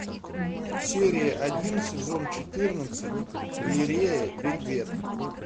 серия один сезон четырнадцать галерея вельвет